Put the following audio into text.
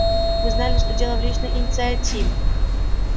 мы знали что дело в личной инициативе